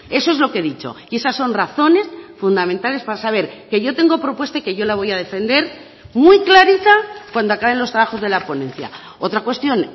eso es lo que he dicho y esas son razones fundamentales para saber que yo tengo propuesta y que yo la voy a defender muy clarita cuando acaben los trabajos de la ponencia otra cuestión